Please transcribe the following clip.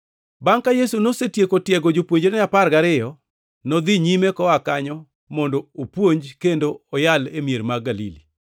Bangʼ ka Yesu nosetieko tiego jopuonjrene apar gariyo, nodhi nyime koa kanyo mondo opuonj kendo oyal e mier mag Galili.